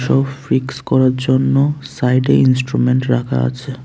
Fix করার জন্য সাইডে ইন্সট্রুমেন্ট রাখা আছে।